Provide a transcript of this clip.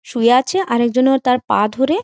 শুয়ে আছে একজনও তার পা ধরে--